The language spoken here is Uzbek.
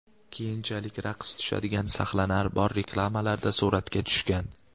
Keyinchalik raqs tushadigan sahnalari bor reklamalarda suratga tushgan.